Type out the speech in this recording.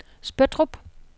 Spøttrup